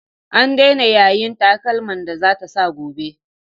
An daina yayin takalman da za ta sa gobe.